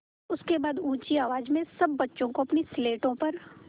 उसके बाद ऊँची आवाज़ में सब बच्चों को अपनी स्लेटों पर